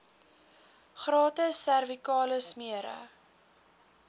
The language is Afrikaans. gratis servikale smere